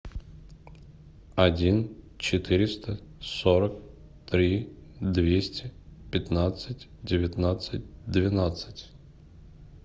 один четыреста сорок три двести пятнадцать девятнадцать двенадцать